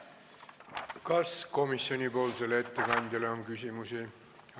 Kas komisjoni ettekandjale on küsimusi?